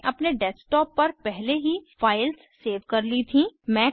मैंने अपने डेस्कटॉप पर पहले ही फाइल्स सेव कर ली थीं